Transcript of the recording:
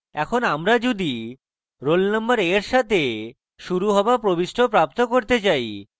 এখন আমরা যদি roll নম্বর a এর সাথে শুরু হওয়া প্রবিষ্টি প্রাপ্ত করতে চাই